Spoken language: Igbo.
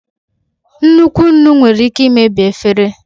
Nnukwu nnu nwere ike imebi efere.